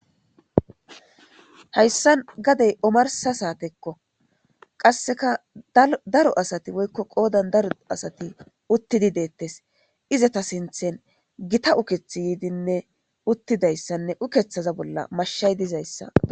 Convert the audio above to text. Hayssan gadey omarsa saatekko qasseka daro asati woykko qoodan daro asati uttidi deettes izata sinthen gita ukethi yiidinne uttidayssanne ukethaza bolla mashshay dizayssa.